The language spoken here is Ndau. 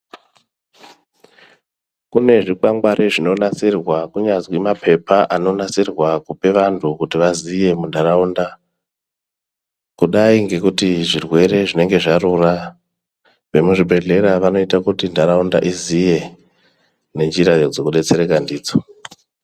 Kune zvikwangwari zvinonasirwa kunyazi mapepa anonasirwa kupe vantu kuti vaziye muntaraunda. Kudai ngekuti zvirwere zvinenge zvarura, vemuzvibhedhlera vanoite kuti ntaraunda iziye nenjira dzekudetsereka ndidzo.